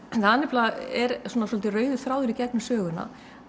það nefnilega er svolítið rauði þráðurinn í gegnum söguna